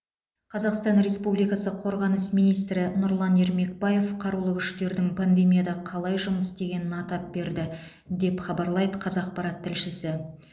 қазақстан республикасы қорғаныс министрі нұрлан ермекбаев қарулы күштердің пандемияда қалай жұмыс істегенін атап берді деп хабарлайды қазақпарат тілшісі